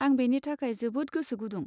आं बेनि थाखाय जोबोद गोसो गुदुं।